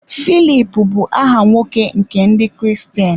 Filip bụ aha nwoke nke Ndị Kristian.